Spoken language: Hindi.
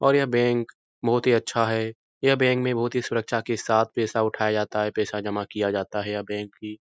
और यह बैंक बोहोत ही अच्छा है। यह बैंक में बोहोत ही सुरक्षा के साथ पैसा उठाया जाता पैसा जमा किया जाता है। यह बैंक कि --